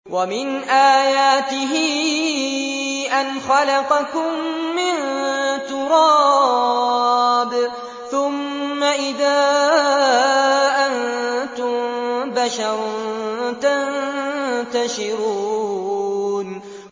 وَمِنْ آيَاتِهِ أَنْ خَلَقَكُم مِّن تُرَابٍ ثُمَّ إِذَا أَنتُم بَشَرٌ تَنتَشِرُونَ